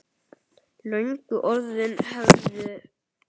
Löngu orðin hefð.